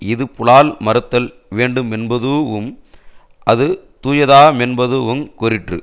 இது புலால் மறுத்தல் வேண்டுமென்பதூஉம் அது தூயதாமென்பதூஉம் கூறிற்று